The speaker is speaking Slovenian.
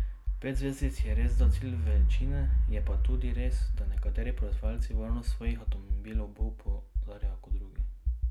Pet zvezdic je resda cilj večine, je pa tudi res, da nekateri proizvajalci varnost svojih avtomobilov bolj poudarjajo kot drugi.